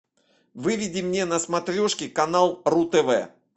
выведи мне на смотрешке канал ру тв